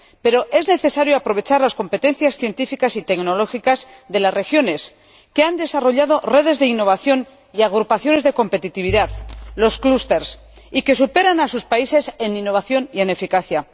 Pero es necesario aprovechar las competencias científicas y tecnológicas de las regiones, que han desarrollado redes de innovación y agrupaciones de competitividad, los clusters, y que superan a sus países en innovación y en eficacia.